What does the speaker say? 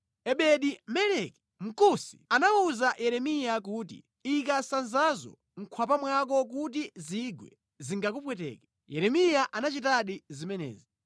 Ebedi-Meleki, Mkusi, anawuza Yeremiya kuti, “Ika sanzazo mkwapa mwako kuti zingwe zingakupweteke.” Yeremiya anachitadi zimenezi,